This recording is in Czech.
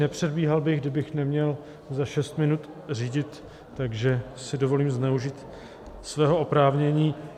Nepředbíhal bych, kdybych neměl za šest minut řídit, takže si dovolím zneužít svého oprávnění.